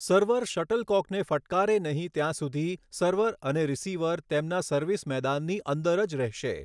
Server શટલકોકને ફટકારે નહીં ત્યાં સુધી સર્વર અને રિસીવર તેમના સર્વિસ મેદાનની અંદર જ રહેશે.